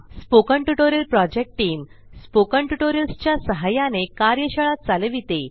spoken tutorial project team spoken tutorials च्या सहाय्याने कार्यशाळा चालविते